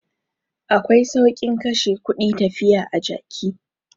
Akwai saukin kashe kudi tafiya a jaki.